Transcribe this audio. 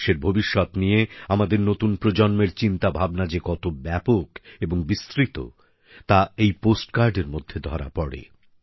দেশের ভবিষ্যৎ নিয়ে আমাদের নতুন প্রজন্মের চিন্তাভাবনা যে কত ব্যাপক এবং বিস্তৃত তা এই পোস্টকার্ডের মধ্যে ধরা পড়ে